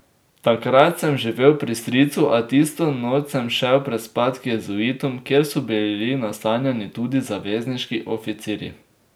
Takrat sem živel pri stricu, a tisto noč sem šel prespat k jezuitom, kjer so bili nastanjeni tudi zavezniški oficirji.